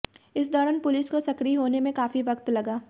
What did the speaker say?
इस दौरान पुलिस को सक्रिय होने में काफी वक्त लगा